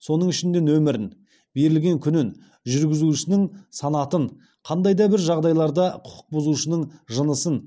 соның ішінде нөмірін берілген күнін жүргізушінің санатын қандай да бір жағдайларда құқық бұзушының жынысын